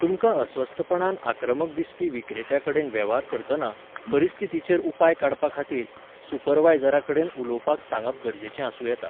तुमकां अस्वस्थपणान आक्रमक दिसपी विक्रेत्या कडेन वेव्हार करतना, परिस्थितीचेर उपाय काडपा खातीर, सुपरवायझरा कडेन उलोवपाक सांगप गरजेचें आसूं येता.